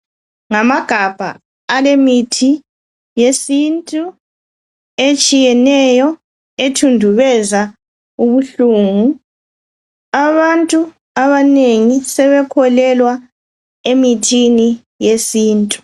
Ngamagabha alemithi yesintu etshiyeneyo ethundubeza ubuhlungu. Abantu abanengi sebekholelwa emithini yesintu.